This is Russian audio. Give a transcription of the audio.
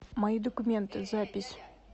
мои документы запись